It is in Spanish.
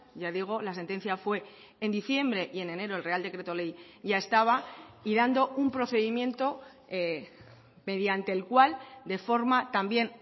ya digo la sentencia fue en diciembre y en enero el real decreto ley ya estaba y dando un procedimiento mediante el cual de forma también